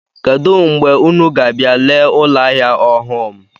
Kedụ mgbe unu ga-abịa lee ụlọahịa ọhụụ m?